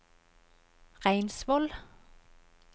Reinsvoll